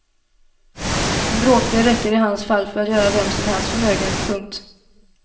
En bråkdel räcker i hans fall för att göra vem som helst förmögen. punkt